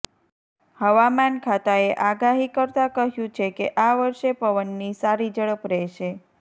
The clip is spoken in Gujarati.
હવામાન ખાતાએ આગાહી કરતા કહ્યું છે કે આ વર્ષે પવનની સારી ઝડપ રહેશે